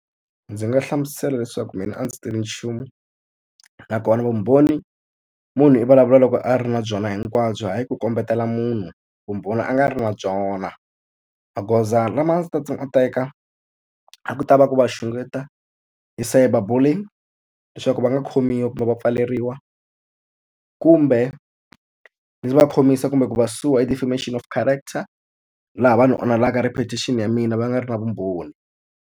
Ndzi nga hlamusela leswaku mina a ndzi tivi nchumu, nakona vumbhoni munhu i vulavula loko a ri na byona hinkwabyo hayi ku kombetela munhu vumbhoni a nga ri na byona. Magoza lama a ndzi ta teka a ku ta va ku va xungeta hi cyber bullying leswaku va nga khomiwa kumbe va pfaleriwa, kumbe ndzi va khomisa kumbe ku va sue-wa hi defamation of character, laha vanhu onhelaka reputation ya mina va nga ri na vumbhoni.